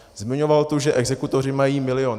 Zmiňoval tu, že exekutoři mají milion.